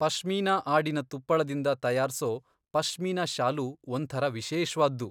ಪಶ್ಮೀನಾ ಆಡಿನ ತುಪ್ಪಳದಿಂದ ತಯಾರ್ಸೋ ಪಶ್ಮೀನಾ ಶಾಲು ಒಂಥರ ವಿಶೇಷ್ವಾದ್ದು.